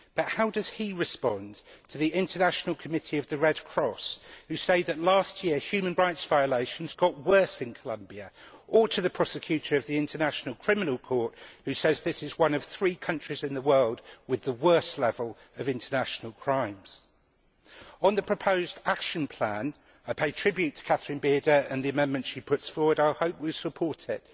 How does he respond, however, to the International Committee of the Red Cross which says that last year human rights violations got worse in Colombia, or to the Prosecutor of the International Criminal Court who says this is one of three countries in the world with the worst levels of international crime? On the proposed action plan, I pay tribute to Catherine Bearder and the amendment she is putting forward I hope we will support it.